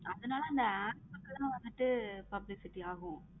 ஆதுனால அந்த app கு வந்துட்டு publicity ஆகும்.